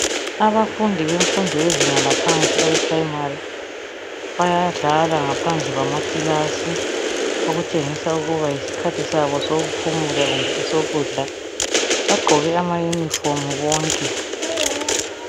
Abafundi bemfundo yezinga laphansi abe phuremari bayadlala ngaphandle kwama kilasi okutshengisa ukuba yisikhathi sabo sokuphumula kumbe esokudla .Bagqoke ama yunifomu bonke